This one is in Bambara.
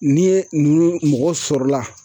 Ni ye nunnu , mɔgɔ sɔrɔ la